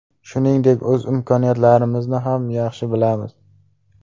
Shuningdek, o‘z imkoniyatlarimizni ham yaxshi bilamiz.